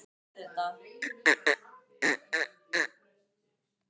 Engin farartæki voru til hraðskreiðari en hestar á landi og seglskip á vatni.